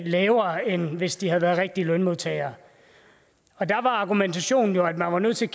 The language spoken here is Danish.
lavere end hvis de havde været rigtige lønmodtagere der var argumentationen jo at man var nødt til